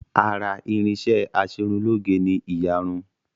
Ara irinṣẹ́ Aṣerunlóge ni ìyarun